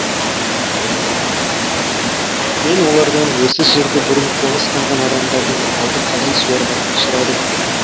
мен олардан осы жерді бұрын қоныстанған адамдардың малды қалай суарғанын сұрадым